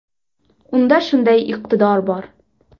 Unda shunday iqtidor bor.